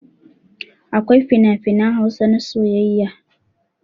Akwai finafinan Hausa na soyayya.